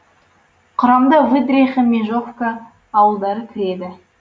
құрамына выдриха межовка ауылдары кіреді